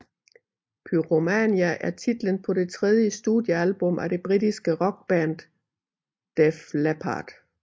Pyromania er titlen på det tredje studieablum af det britiske rockband Def Leppard